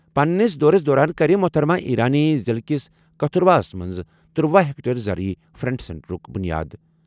پننِس دورَس دوران کَرِ محترمہ ایرانی ضِلعہٕ کِس کتھوراہَس منٛز ترٗوہَ ہیکٹر زرعی فرنٹ سینٹرُک بُنیاد۔